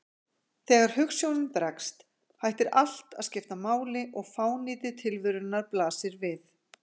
Þegar hugsjónin bregst, hættir allt að skipta máli og fánýti tilverunnar blasir við.